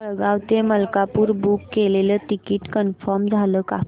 जळगाव ते मलकापुर बुक केलेलं ticket confirm झालं का